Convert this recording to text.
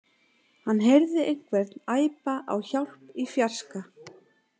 Hann heyrði einhvern æpa á hjálp í fjarska.